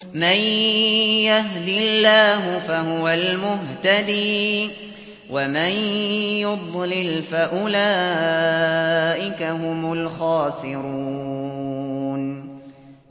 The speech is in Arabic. مَن يَهْدِ اللَّهُ فَهُوَ الْمُهْتَدِي ۖ وَمَن يُضْلِلْ فَأُولَٰئِكَ هُمُ الْخَاسِرُونَ